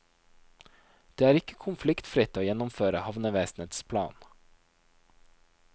Det er ikke konfliktfritt å gjennomføre havnevesenets plan.